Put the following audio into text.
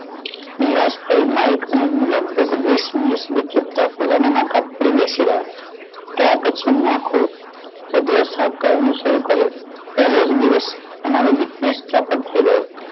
નિરાશ થઈ માઇક અને હું લગભગ હોશનીશ પોતાના પકડી બેસી ગયા ત્યાર પછી અમને આખુ સાફ કરવાનું શરૂ કર્યું પહેલો જ દિવસ આમરો business ચોપટ થઈ ગયો